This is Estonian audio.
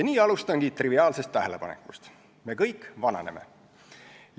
Nii alustangi triviaalsest tähelepanekust: me kõik vananeme.